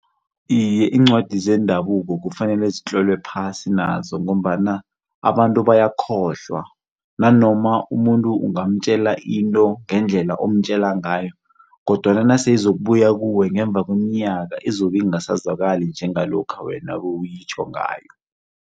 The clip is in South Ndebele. Iye iincwadi zendabuko kufanele zitlolwe phasi nazo ngombana abantu bayakhohlwa nanoma umuntu ungamtjela into ngendlela omtjela ngayo kodwana nase izokubuya kuwe ngemva kweminyaka izobe ingasazwakali njengalokha wena bewuyitjho ngayo.